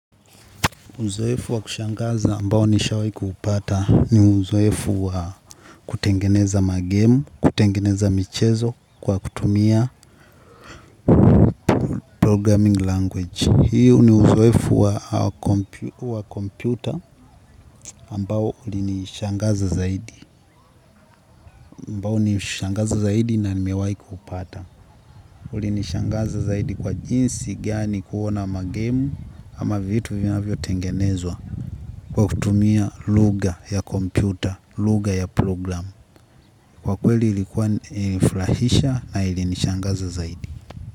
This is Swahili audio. Uzoefu wa kushangaza ambao nishawai kuupata ni uzoefu wa kutengeneza magemu, kutengeneza michezo kwa kutumia programming language. Hii ni uzoefu wa computer ambao ulinishangaza zaidi. Ambao nishangaza zaidi na nimewai kuupata. Uli nishangaza zaidi kwa jinsi gani kuona magemu ama vitu vinavyo tengenezwa. Kwa kutumia lugha ya kompyuta, lugha ya program kwa kweli ilikuwa ili furahisha na ilinishangaza zaidi.